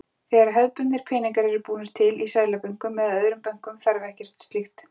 Þegar hefðbundnir peningar eru búnir til, í seðlabönkum eða öðrum bönkum, þarf ekkert slíkt.